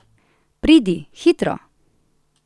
Pridi, hitro!